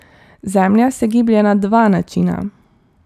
Zemlja se giblje na dva načina.